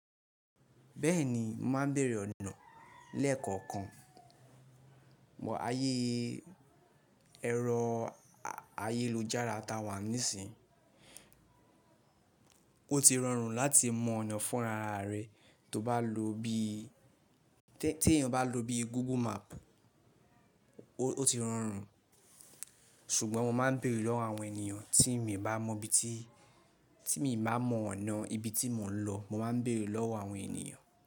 Bẹ́ẹ̀ni, mo máa ń bèèrè ọ̀nà lẹ́ẹ̀kọ̀kan. Ayé ẹrọ ayélujára ta wà nísìí. O ti rọrùn láti mọ ọ̀nà fúnra ara rẹ, tó bá lo bí, tí ẹ̀yàn bá lo bí Google Map ó ti rọrùn. Ṣùgbọ́n mo máa ń bèèrè lọ́wọ́ àwọn ènìyàn tí mi bá mọ ibi tí, tí mi bá mọ ọ̀nà ibi tí mò ń lọ, mo máa ń bèèrè lọ́wọ́ àwọn ènìyàn.